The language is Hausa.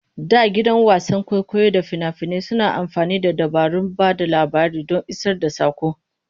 Da gidan wasan kwaikwayo da fina-finai suna amfani da dabarun ba da labari don isar da saƙo.